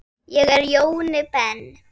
Ég er Jóni Ben.